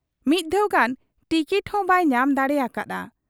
ᱢᱤᱫ ᱫᱷᱟᱣ ᱜᱟᱱ ᱴᱤᱠᱚᱴ ᱦᱚᱸ ᱵᱟᱭ ᱧᱟᱢ ᱫᱟᱲᱮ ᱟᱠᱟ ᱦᱟᱫ ᱟ ᱾